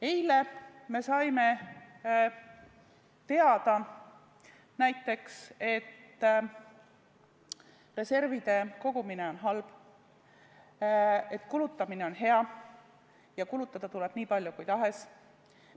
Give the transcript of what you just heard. Eile me saime näiteks teada, et reservide kogumine on halb, kulutamine on hea ja kulutada tuleb nii palju kui tahes.